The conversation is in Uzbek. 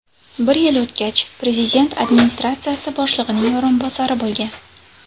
Bir yil o‘tgach, prezident administratsiyasi boshlig‘ining o‘rinbosari bo‘lgan.